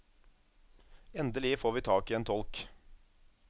Endelig får vi tak i en tolk.